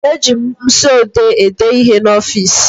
Eji mkpịsịodee ede ihe n'ọfịsi